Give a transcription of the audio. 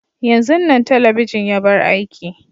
yanzun Nan telebijin ya bar aiki.